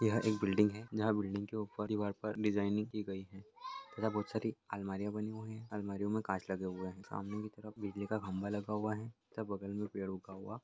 यह एक बिल्डिंग है जहाँ बिल्डिंग के ऊपर दिवार पर डिजाईनिंग की गयी है तथा बोहत सारी अलमारियां बनी हुई है अलमारियों में कांच लगे हुए है सामने की तरफ बिजली का खम्भा लगा हुआ है उसके बगल में पेड़ ऊगा हुआ--